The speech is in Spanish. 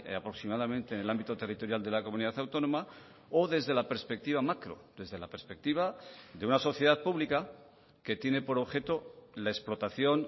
aproximadamente en el ámbito territorial de la comunidad autónoma o desde la perspectiva macro desde la perspectiva de una sociedad pública que tiene por objeto la explotación